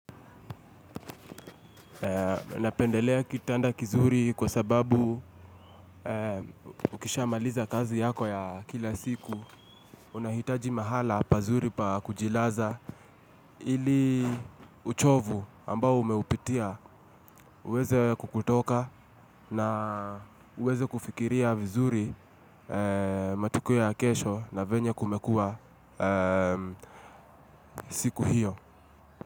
Na pendelea kitanda kizuri kwa sababu ukisha maliza kazi yako ya kila siku unahitaji mahala pazuri pakujilaza ili uchovu ambao umeupitia uweze kukutoka na uweze kufikiria vizuri matukio ya kesho na venye kumekua siku hiyo.